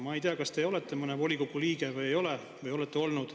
Ma ei tea, kas te olete mõne volikogu liige või ei ole, või olete olnud.